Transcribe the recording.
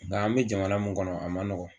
Nka an bɛ jamana min kɔnɔ a man nɔgɔn